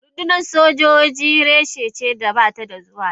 Rundunar soji reshe ce da ba ta zuwa yaƙi.